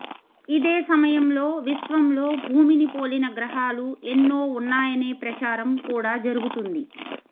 ఇదే సమయంలో విశ్వంలో భూమిని పోలిన గ్రహాలు ఎన్నో ఉన్నాయనే ప్రచారం కూడా జరుగుతుంది